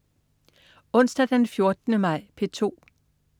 Onsdag den 14. maj - P2: